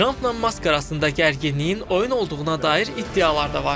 Trampla Mask arasında gərginliyin oyun olduğuna dair iddialar da var.